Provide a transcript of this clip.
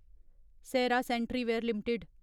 Sera sanitaryware limited